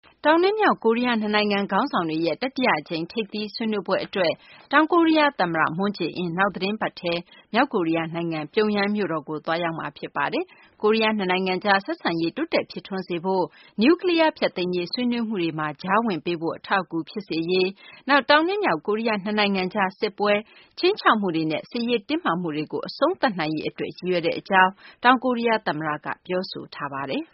တောင်နဲ့ မြောက် ကိုရီးယား နှစ်နိုင်ငံ ခေါင်းဆောင်တွေရဲ့ တတိယ အကြိမ် ထိပ်သီးဆွေးနွေးပွဲ အတွက် တောင်ကိုရီးယား သမ္မတ မွန်းဂျေအင်း နောက်သီတင်းပတ် အင်္ဂါနေ့မှာ မြောက်ကိုရီးယားနိုင်ငံ မြို့တော် ပြုံယမ်းကို သွားရောက်မှာ ဖြစ်ပါတယ်။ ကိုရီးယား နှစ်နိုင်ငံကြား ဆက်ဆံရေး တိုးတက် ဖြစ်ထွန်းစေရေး၊ နျူးကလီးယား ဖျက်သိမ်းရေး ဆွေးနွေးမှုတွေမှာ ကြားဝင်ပေးဖို့ အထောက်အကူ ဖြစ်စေဖို့၊ နောက် တောင်နဲ့ မြောက် ကိုရီးယား နှစ်နိုင်ငံကြား စစ်ပွဲ ခြိမ်းခြောက်မှုတွေနဲ့ စစ်ရေး တင်းမာမှုတွေကို အဆုံးသတ်နိုင်ရေး အတွက် ရည်ရွယ်ကြောင်း တောင်ကိုရီးယား သမ္မတက ပြောဆိုထားပါတယ်။